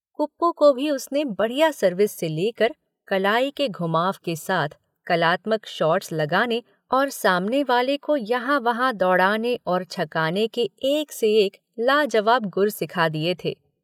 कुप्पू को भी उसने बढ़िया सर्विस से लेकर, कलाई के घुमाव के साथ कलात्मक शॉट्स लगाने और सामने वाले को यहाँ वहाँ दौड़ाने और छकाने के एक से एक लाजवाब गुर सिखा दिए थे।